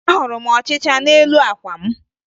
Ahụrụ m ọchịcha n'elu àkwà m